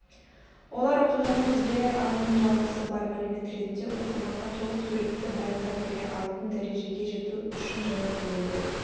олар оқиғаны өзгере алатын жалғасы бар мәлімет ретінде оқырманға толық суретті баяндап бере алатын дәрежеге жету үшін жаңартылуды